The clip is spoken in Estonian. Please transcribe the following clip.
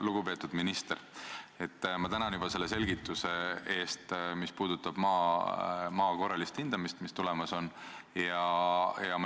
Lugupeetud minister, ma tänan selle selgituse eest, mis puudutas maa korralist hindamist, mis tulemas on.